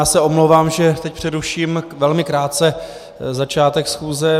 Já se omlouvám, že teď přeruším velmi krátce začátek schůze.